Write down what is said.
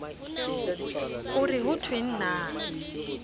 o re ho thweng na